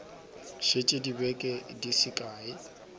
šetše dibeke di se kae